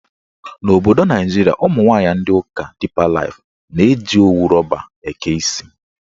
N'obodo Naijiria, ụmụnwaanyị ndị ụka Dipa Laif na-eji owu rọba eke isi.